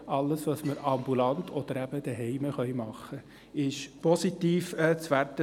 Alles, was wir ambulant oder zu Hause tun können, ist positiv zu werten;